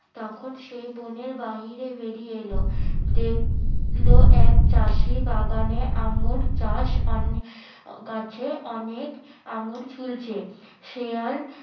তখন সে বনের বাইরে বেরিয়ে এল দেখলো এক চাষি বাগানে আঙ্গুর চাষ গাছে অনেক আঙ্গুর ঝুলছে সে আর